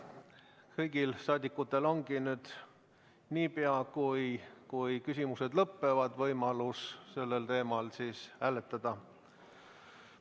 Kõigil rahvasaadikutel ongi kohe, kui küsimused lõpevad, võimalus sellel teemal hääletada.